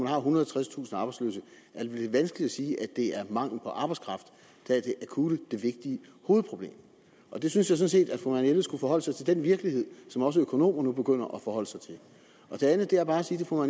har ethundrede og tredstusind arbejdsløse er det lidt vanskeligt at sige at det er mangel på arbejdskraft der er det akutte det vigtige hovedproblem jeg synes sådan set at fru marianne jelved skulle forholde sig til den virkelighed som også økonomer nu begynder at forholde sig til det andet er bare at sige til fru